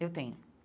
Eu tenho.